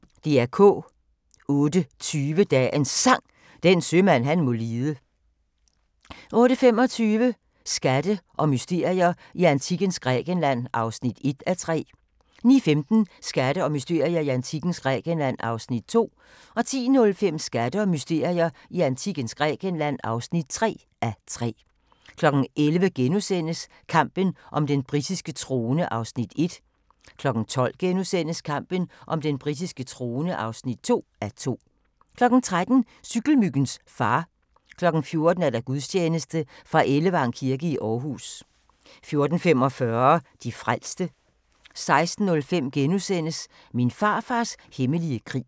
08:20: Dagens Sang: Den sømand han må lide 08:25: Skatte og mysterier i antikkens Grækenland (1:3) 09:15: Skatte og mysterier i antikkens Grækenland (2:3) 10:05: Skatte og mysterier i antikkens Grækenland (3:3) 11:00: Kampen om den britiske trone (1:2)* 12:00: Kampen om den britiske trone (2:2)* 13:00: Cykelmyggens far 14:00: Gudstjeneste fra Ellevang kirke i Aarhus 14:45: De frelste 16:05: Min farfars hemmelige krig *